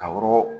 Ka woro